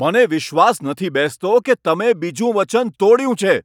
મને વિશ્વાસ નથી બેસતો કે તમે બીજું વચન તોડ્યું છે.